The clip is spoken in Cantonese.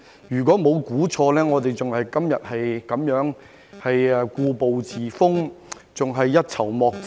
如果沒有猜錯，我們今天仍然故步自封，仍然一籌莫展。